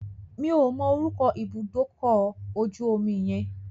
Mi ò mọ orúkọ ibùdó ọlọ̀ ojú omi yẹn.